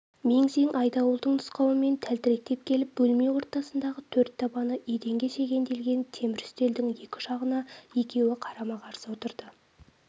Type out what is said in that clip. мең-зең айдауылдың нұсқауымен тәлтіректеп келіп бөлме ортасындағы төрт табаны еденге шегенделген темір үстелдің екі жағына екеуі қарама-қарсы отырды